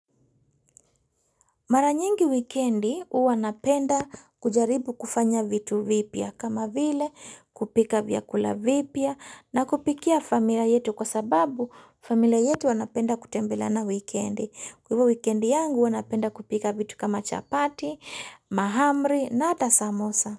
Mara nyingi wikendi huwa napenda kujaribu kufanya vitu vipya kama vile kupika vyakula vipya na kupikia familia yetu kwa sababu familia yetu wanapenda kutembelana wikendi. Kwa hivyo wikendi yangu huwa napenda kupika vitu kama chapati, mahamri na hata samosa.